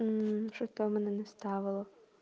что там она настаивала